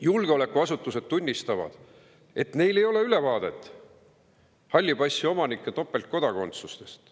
Julgeolekuasutused tunnistavad, et neil ei ole ülevaadet halli passi omanike topeltkodakondsusest.